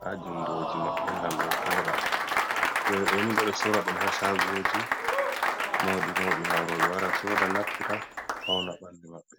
ha jungoji gam be voda, jawe doni bedo sora dum ha shagoji maudi maudi gam robe wara soda naftira pauna bandu mabbe